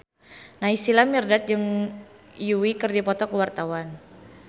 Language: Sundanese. Naysila Mirdad jeung Yui keur dipoto ku wartawan